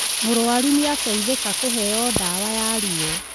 Mũrũaru nĩ ateithĩka kũheo ndawa ya ruo